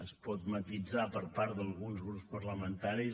es pot matisar per part d’alguns grups parlamentaris